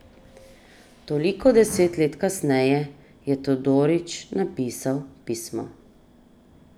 Toliko deset let kasneje je Todorić napisal pismo.